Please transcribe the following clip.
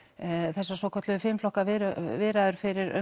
þessar svokölluðu fimm flokka viðræður fyrir um